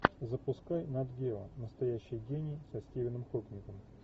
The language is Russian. запускай нат гео настоящий гений со стивеном хокингом